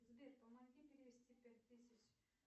сбер помоги перевести пять тысяч